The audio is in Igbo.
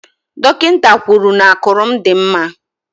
Dọkịta kwuru n'ákụ̀rụ̀ m dị mma.